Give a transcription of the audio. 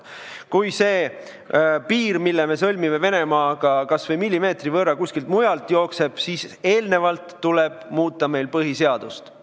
Kui see piir, mille kohta me sõlmime Venemaaga lepingu, kas või millimeetri võrra kuskilt mujalt jookseb, siis tuleb meil eelnevalt muuta põhiseadust.